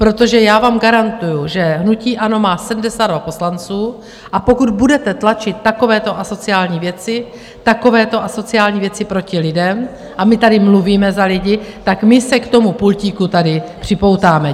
Protože já vám garantuju, že hnutí ANO má 72 poslanců, a pokud budete tlačit takovéto asociální věci, takovéto asociální věci proti lidem, a my tady mluvíme za lidi, tak my se k tomu pultíku tady připoutáme.